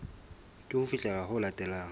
ke ho fihlela ho latelang